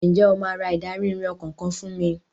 Ǹjẹ́ o máa ra ìdarí-ìrìn ọkọ̀ kan fún mi?